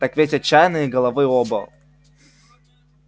так ведь отчаянные головы оба